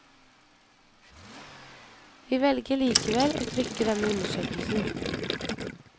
Vi velger likevel å trykke denne undersøkelsen.